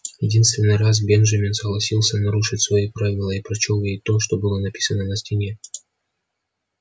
единственный раз бенджамин согласился нарушить свои правила и прочёл ей то что было написано на стене